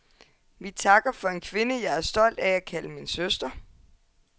Vi takker for en kvinde, jeg er stolt af at kalde min søster.